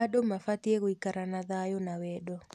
Andũ mabatiĩ gũikara na thayũ na wendo.